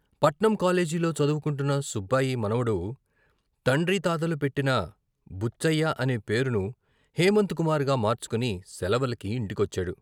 పట్నం కాలేజీలో చదువుకుంటున్న సుబ్బాయి మనవడు, తండ్రి తాతలు పెట్టిన బుచ్చయ్య అనే పేరును హేమంత్ కుమార్‌గా మార్చుకుని సెలవలకి ఇంటి కొచ్చాడు.